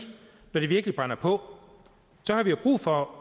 når det virkelig brænder på så har vi jo brug for